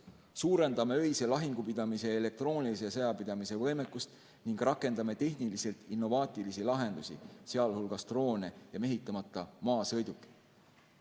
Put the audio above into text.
Suurendame öise lahingupidamise ja elektroonilise sõjapidamise võimekust ning rakendame tehniliselt innovaatilisi lahendusi, sealhulgas droone ja mehitamata maasõidukeid.